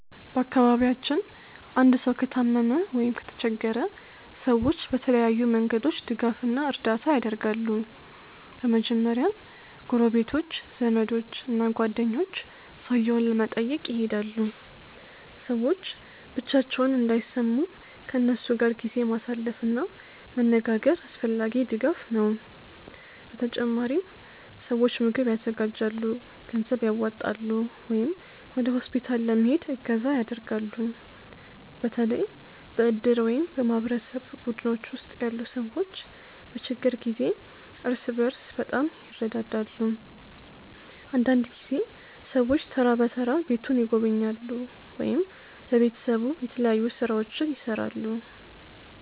በአካባቢያችን አንድ ሰው ከታመመ ወይም ከተቸገረ ሰዎች በተለያዩ መንገዶች ድጋፍ እና እርዳታ ያደርጋሉ። በመጀመሪያ ጎረቤቶች፣ ዘመዶች እና ጓደኞች ሰውየውን ለመጠየቅ ይሄዳሉ። ሰዎች ብቻቸውን እንዳይሰሙ ከእነሱ ጋር ጊዜ ማሳለፍ እና መነጋገር አስፈላጊ ድጋፍ ነው። በተጨማሪም ሰዎች ምግብ ያዘጋጃሉ፣ ገንዘብ ያዋጣሉ ወይም ወደ ሆስፒታል ለመሄድ እገዛ ያደርጋሉ። በተለይ በእድር ወይም በማህበረሰብ ቡድኖች ውስጥ ያሉ ሰዎች በችግር ጊዜ እርስ በርስ በጣም ይረዳዳሉ። አንዳንድ ጊዜ ሰዎች ተራ በተራ ቤቱን ይጎበኛሉ ወይም ለቤተሰቡ የተለያዩ ሥራዎችን ይሠራሉ።